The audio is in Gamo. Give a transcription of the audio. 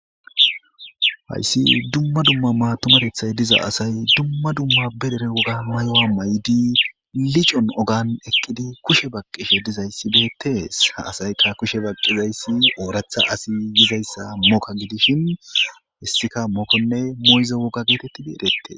hayssi dumma dumma matumatethay diza asay dumma dumma berere woga mayowa may7di licon ogan eqqidi kushe baqqishe dizayssibeetees ha asaykka kushe baqqizayssi ooratha asi yizayssa mokka gidishin hissika mokkonne moyza wogga geetetti beedette